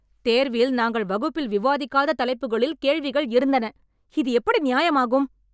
தேர்வில் நாங்கள் வகுப்பில் விவாதிக்காத தலைப்புகளில் கேள்விகள் இருந்தன. இது எப்படி நியாயம் ஆகும்